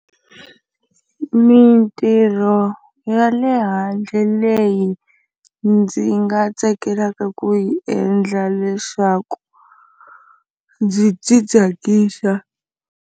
Mintirho ya le handle leyi ndzi nga tsakelaka ku yi endla leswaku ndzi ti tsakisa.